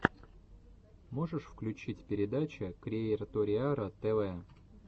можешь включить передача криэйториара тв